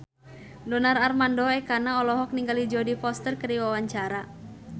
Donar Armando Ekana olohok ningali Jodie Foster keur diwawancara